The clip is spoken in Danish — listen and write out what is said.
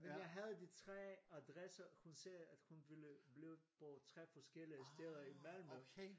Men jeg havde de 3 adresser hun sagde at hun ville blive på 3 forskellige steder i Malmø